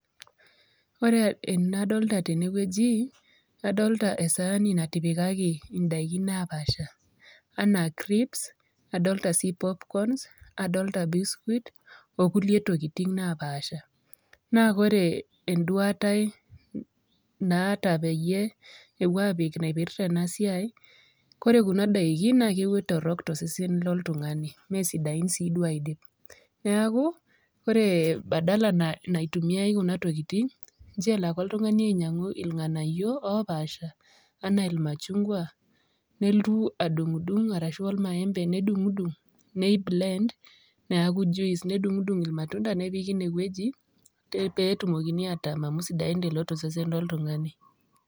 Ore enadolta tene wueji, adolta esaani natipikaki ndaikin naapaasha enaa crips, adolta sii popcorns, adolta biscuit, o kulie tokitin napaasha. Naa kore eduata ai naata peyie epuo aapik naipirta ena siai, kore kuna daikin naake torok to sesen loltung'ani mesdiain sii duo aidip. Neeku ore badala naitumiai kuna tokitin, ncho elo ake oltung'ani ainyang'u irng'anayio opaasha enaa irma chungwa, neltu adung'dung' arashu or maembe nedung'dung' nei blend, neeku juice, nedung'dung' ir matunda, nepiki ine wueji pee etumokini atam amu sidain ilo to sesen loltung'ani.